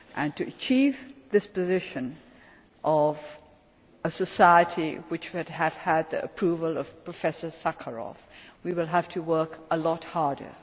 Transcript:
To achieve this position of a society which would have had the approval of Professor Sakharov, we will have to work a lot